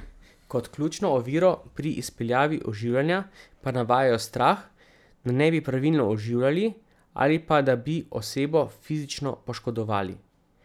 Kot ključno oviro pri izpeljavi oživljanja pa navajajo strah, da ne bi pravilno oživljali ali pa da bi osebo fizično poškodovali.